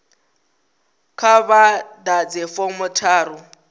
kha vha ḓadze fomo tharu